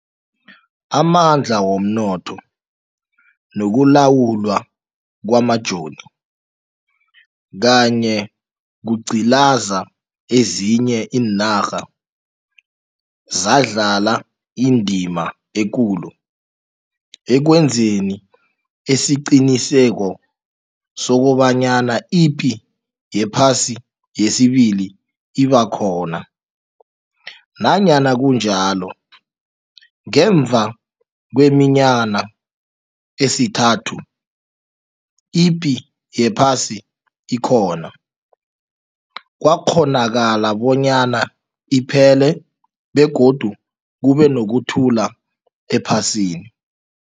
Amandla womnotho, nokulawulwa kwamajoni kanye kugcilaza ezinye iinarha zadlala indima ekulu ekwenzi esiqiniseko sokobanyana ipi yephasi yesibili iba khona. Nanyana kunjalo, ngemva kweminyana esithantathu ipi yephasi ikhona, kwakghonakala bonyana iphele begodu kube nokuthula ephasini.